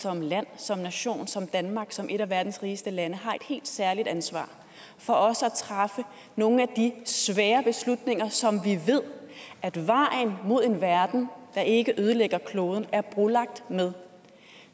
som land som nation som danmark som et af verdens rigeste lande har et helt særligt ansvar for også at træffe nogle af de svære beslutninger som vi ved at vejen mod en verden der ikke ødelægger kloden er brolagt med